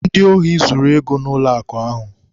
Ndị ohi zuru ego n'ụlọakụ ahụ.